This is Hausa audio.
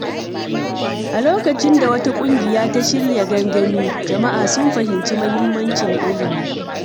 A lokacin da wata ƙungiya ta shirya gangami, jama’a sun fahimci mahimmancin ilimi.